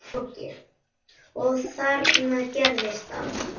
Og þarna gerðist það.